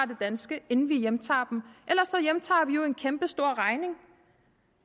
det danske inden vi hjemtager dem ellers hjemtager vi jo en kæmpestor regning